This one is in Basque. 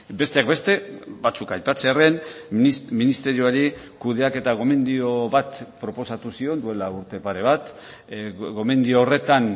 besteak beste batzuk aipatzearren ministerioari kudeaketa gomendio bat proposatu zion duela urte pare bat gomendio horretan